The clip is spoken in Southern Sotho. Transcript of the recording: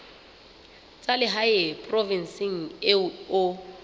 tsa lehae provinseng eo o